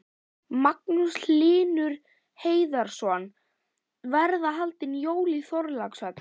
Magnús Hlynur Hreiðarsson: Verða haldin jól í Þorlákshöfn?